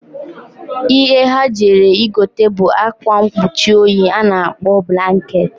Ihe ha jere igota bu akwa nkpuchi oyi a na-akpọ blaket..